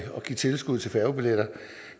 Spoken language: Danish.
give tilskud til færgebilletter